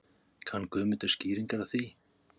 Kann Guðmundur skýringar á því?